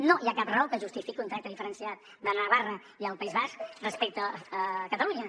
no hi ha cap raó que justifiqui un tracte diferenciat de navarra i el país basc respecte a catalunya